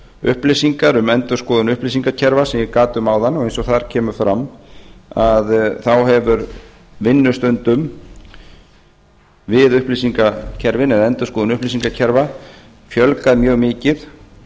upplýsingar um endurskoðun upplýsingakerfa sem ég gat um áðan og eins og þar kemur fram hefur vinnustundum við upplýsingakerfin eða endurskoðun upplýsingakerfa fjölgað mjög mikið